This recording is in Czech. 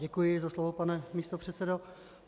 Děkuji za slovo, pane místopředsedo.